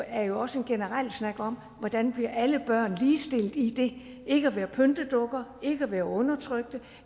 er jo også en generel snak om hvordan alle børn bliver ligestillet i det ikke at være pyntedukker ikke at være undertrykte